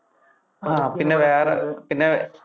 ആ പിന്നെ വേറെ അഹ് പിന്നെ